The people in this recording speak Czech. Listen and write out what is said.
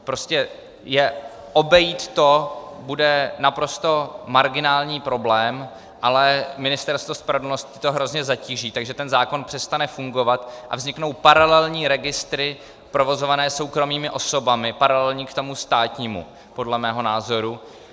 Prostě obejít to bude naprosto marginální problém, ale Ministerstvo spravedlnosti to hrozně zatíží, takže ten zákon přestane fungovat a vzniknou paralelní registry provozované soukromými osobami, paralelní k tomu státnímu, podle mého názoru.